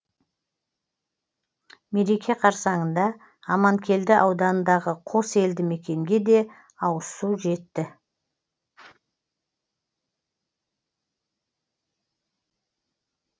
мереке қарссаңында аманкелді ауданындағы қос елді мекенге де ауызсу жетті